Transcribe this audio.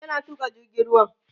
yana Tuka jirgin ruwan